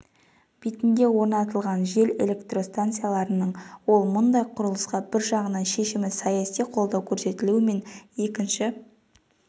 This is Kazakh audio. бетінде орнатылған жел электростанцияларының ол мұндай құрылысқа бір жағынан шешімді саяси қолдау көрсетілуі мен екінші